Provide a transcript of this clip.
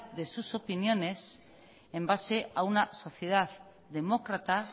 de sus opiniones en base a una sociedad demócrata